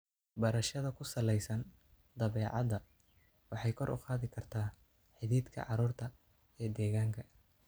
Barashada ku salaysan dabeecadda waxay kor u qaadi kartaa xidhiidhka carruurta ee deegaanka.